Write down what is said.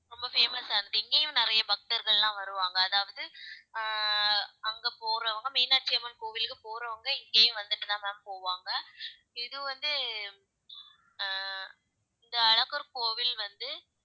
ரொம்ப famous ஆ இருக்கு இங்கேயும் நிறைய பக்தர்கள் எல்லாம் வருவாங்க அதாவது அஹ் அங்க போறவங்க மீனாட்சி அம்மன் கோவிலுக்கு போறவங்க இங்கேயும் வந்துட்டுதான் ma'am போவாங்க இது வந்து அஹ் இந்த அழகர் கோவில் வந்து